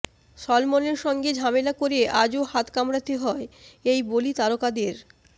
সলমনের সঙ্গে ঝামেলা করে আজও হাত কামড়াতে হয় এই বলি তারকাদের